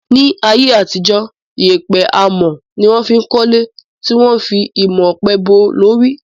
Ní ayé àtijó, yèèpẹ̀ amọ̀ ni wọ́n fí ń kọ́le tí wọ́n a fi imọ̀ ọ̀pẹ bò ó lórí